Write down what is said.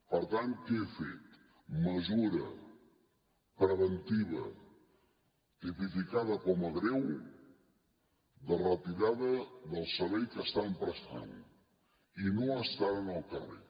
per tant què he fet mesura preventiva tipificada com a greu de retirada del servei que estan prestant i no estan al carrer